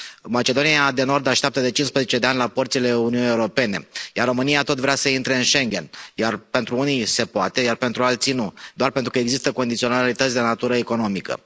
Macedonia de Nord așteaptă de 15 ani la porțile Uniunii Europene, iar România tot vrea să intre în Schengen, iar pentru unii se poate, iar pentru alții nu, doar pentru că există condiționalități de natură economică.